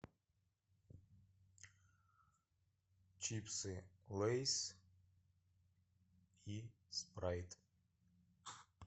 чипсы лейс и спрайт